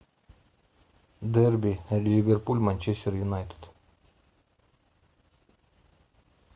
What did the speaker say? дерби ливерпуль манчестер юнайтед